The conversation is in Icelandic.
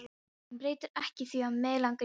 Sem breytir ekki því að mig langar í það.